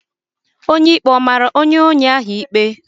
Onye ikpe mara onye ohi ikpe?